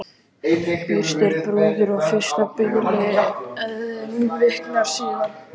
Byrst er brúður að fyrsta biðli en viknar síðan.